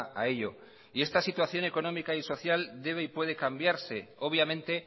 a ello y esta situación económica y social debe y puede cambiarse obviamente